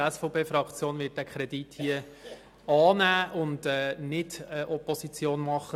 Die SVP-Fraktion wird den vorliegenden Kredit annehmen und nicht dagegen Opposition machen.